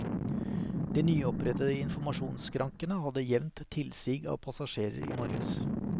De nyopprettede informasjonsskrankene hadde jevnt tilsig av passasjerer i morges.